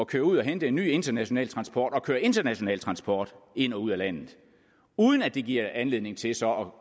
køre ud og hente en ny international transport og køre international transport ind og ud af landet uden at det giver anledning til så